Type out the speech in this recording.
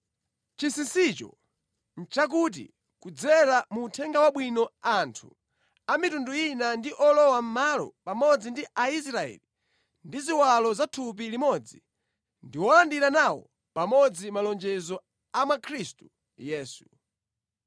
Chinsinsicho nʼchakuti, kudzera mu Uthenga Wabwino anthu a mitundu ina ndi olowamʼmalo pamodzi ndi Aisraeli, ndi ziwalo za thupi limodzi, ndi olandira nawo pamodzi malonjezo a mwa Khristu Yesu.